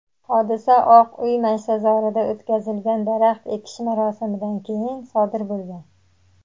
hodisa Oq uy maysazorida o‘tkazilgan daraxt ekish marosimidan keyin sodir bo‘lgan.